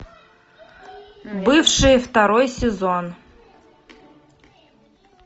бывшие второй сезон